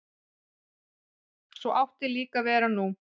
Svo átti líka að vera nú.